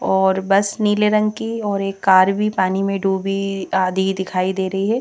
और बस नीले रंग की और एक कार भी पानी में डूबी आधी दिखाई दे रही है।